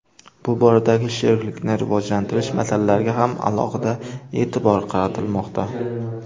Bu boradagi sheriklikni rivojlantirish masalalariga ham alohida e’tibor qaratilmoqda.